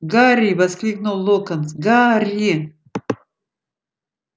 гарри воскликнул локонс гарри